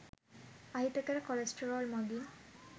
අහිතකර කොලෙස්ටරෝල් මගින්